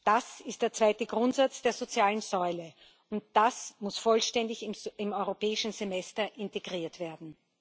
Das ist der zweite Grundsatz der sozialen Säule, und das muss vollständig ins Europäische Semester integriert werden.